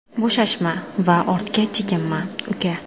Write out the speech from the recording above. Bo‘shashma va ortga chekinma, uka.